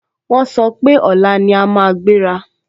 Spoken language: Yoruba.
Wọ́n sọ pé, ọ̀la ni a máa gbéra